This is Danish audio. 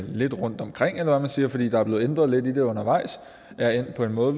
lidt rundt omkring eller hvad man siger fordi der er blevet ændret lidt i det undervejs er endt på en måde